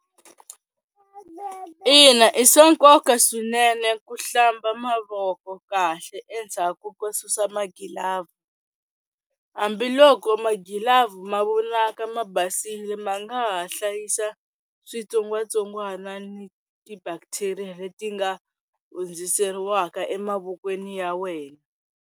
Ina, i swa nkoka swinene ku hlamba mavoko kahle endzhaku ko susa magilavu hambiloko magilavu mavonaka ma basile ma nga ha hlayisa switsongwatsongwana ni ti-bacteria leti nga hundziseriwaka emavokweni ya wena.